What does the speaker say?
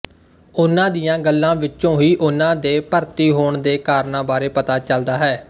ਉਨ੍ਹਾਂ ਦੀਆਂ ਗੱਲਾਂ ਵਿਚੋਂ ਹੀ ਉਨ੍ਹਾਂ ਦੇ ਭਰਤੀ ਹੋਣ ਦੇ ਕਾਰਨਾਂ ਬਾਰੇ ਪਤਾ ਚੱਲਦਾ ਹੈ